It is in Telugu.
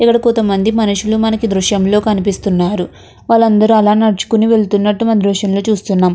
ఇక్కడ కొంతమంది మనుషులు మనకి ఈ దృశ్యం లో కనిపిస్తున్నారు వాళ్ళు అందరూ అలా నడుచుకొని వెళ్తున్నట్టు మనము ఈ దృశ్యంలో చూస్తున్నాం.